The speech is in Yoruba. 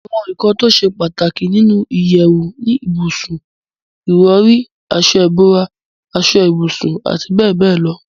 àwọn ǹkan tó ṣe pàtàkì nínu ìyẹ̀wù ni ibùsùn, ìrọ̀rí, aṣọ ìbora, aṣọ ibùsùn àti bẹ́ẹ̀bẹ́ẹ̀ lọ